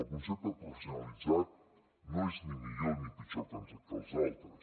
el concepte de professionalitzat no és ni millor ni pitjor que els altres